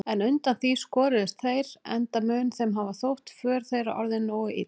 En undan því skoruðust þeir, enda mun þeim hafa þótt för þeirra orðin nógu ill.